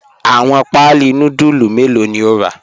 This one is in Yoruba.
Awọn paalí núdùlù mẹlọ̀ ni o ra?